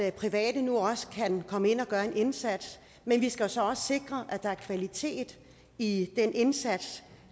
at private nu også kan komme ind og gøre en indsats men vi skal så også sikre at der er kvalitet i den indsats